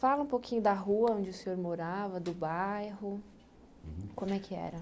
Fala um pouquinho da rua onde o senhor morava, do bairro, uhum como é que era?